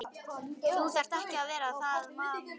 Þú þarft ekki að vera það mamma.